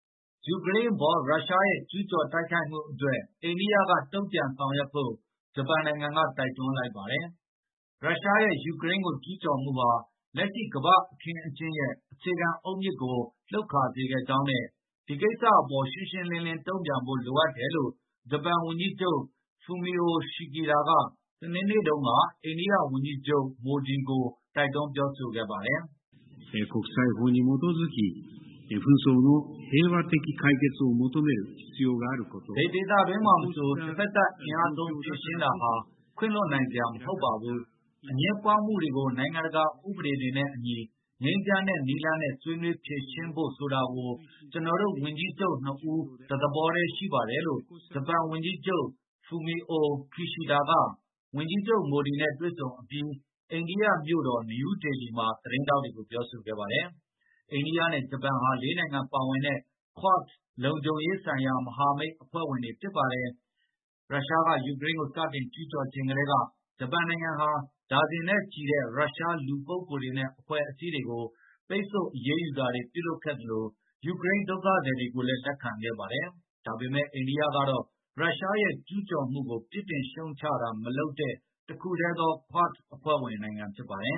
ယူကရိန်းအပေါ် ရုရှားရဲ့ ကျူးကျော်တိုက်ခိုက်မှုအတွက် အိန္ဒိယက တုံ့ပြန်ဆောင်ရွက်ဖို့ ဂျပန်နိုင်ငံက တိုက်တွန်းလိုက်ပါတယ်။ ရုရှားရဲ့ ယူကရိန်းကို ကျူးကျော်မှုဟာ လက်ရှိ ကမ္ဘာ့အခင်းအကျင်းရဲ့ အခြေခံအုတ်မြစ်ကို လှုပ်ခါစေခဲ့ကြောင်းနဲ့ ဒီကိစ္စအပေါ် ရှင်းရှင်းလင်းလင်း တုံ့ပြန်ဖို့ လိုအပ်တယ်လို့ ဂျပန်ဝန်ကြီးချုပ် Fumio Kishida က စနေနေ့တုန်းက အိန္ဒိယဝန်ကြီးချုပ် Modi ကို ပြောဆိုလိုက်ပါတယ်။ “ဘယ်ဒေသတွင်းမှာမဆို တဖက်သတ် အင်အားသုံး ဖြေရှင်းတာဟာ ခွင့်လွှတ်နိုင်စရာ မဟုတ်ပါဘူး။ အငြင်းပွားမှုတွေကို နိုင်ငံတကာဥပေဒတွေနဲ့အညီ ငြိမ်းချမ်းတဲ့နည်းနဲ့ ဆွေးနွေးဖြေရှင်းဖို့ ဆိုတာကို ကျနော်တို့ ဝန်ကြီးချုပ်နှစ်ဦး တသဘောတည်း ရှိပါတယ်။” လို့ ဂျပန်ဝန်ကြီးချုပ် Fumio Kishida က အိန္ဒိယဝန်ကြီးချုပ် Modi နဲ့ တွေ့ဆုံအပြီး အိန္ဒိယမြို့တော် နယူးဒေလီမှာ သတင်းထောက်တွေကို ပြောဆိုခဲ့ပါတယ်။ အိန္ဒိယနဲ့ ဂျပန်ဟာ ၄ နိုင်ငံပါဝင်တဲ့ QUAD လုံခြုံရေးဆိုင်ရာ မဟာမိတ်အဖွဲ့ဝင်တွေ ဖြစ်ပါတယ်။ အဲဒီထဲမှာ သြစတြေးလျနဲ့ အမေရိကန် ပါဝင်ပါတယ်။ ရုရှားက ယူကရိန်းကို စတင်ကျူးကျော်ချိန်ကတည်းက ဂျပန်နိုင်ငံဟာ ဒါဇင်နဲ့ချီတဲ့ ရုရှား လူပုဂ္ဂိုလ်တွေနဲ့ အဖွဲ့အစည်းတွေကို ပိတ်ဆို့အရေးယူတာတွေ ပြုလုပ်ခဲ့သလို ယူကရိန်းဒုက္ခသည်တွေကိုလည်း လက်ခံခဲ့ပါတယ်။ ဒါပေမယ့် အိန္ဒိယကတော့ ရုရှားရဲ့ ကျူးကျော်မှုကို ပြစ်တင်ရှုတ်ချတာ မလုပ်တဲ့ တခုတည်းသော QUAD အဖွဲ့ဝင် ဖြစ်ပါတယ်